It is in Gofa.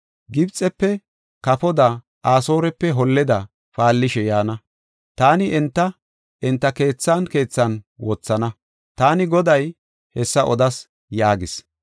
Gibxefe kafoda, Asoorepe holleda paallishe yaana. Taani enta, enta keethan keethan wothana. Taani Goday hessa odas” yaagis.